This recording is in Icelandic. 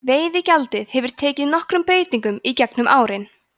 veiðigjaldið hefur tekið nokkrum breytingum í gegnum árin